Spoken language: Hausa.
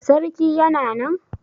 Sarki Yana nan?